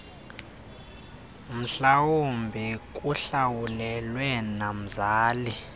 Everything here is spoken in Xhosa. mhlawumbi kuhlawulelwe nomzali